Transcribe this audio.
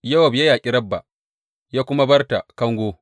Yowab ya yaƙi Rabba, ya kuma bar ta kango.